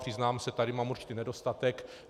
Přiznám se, tady mám určitý nedostatek.